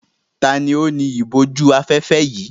Ta ni ó ni ìbòjú-afẹ́fẹ́ yìí?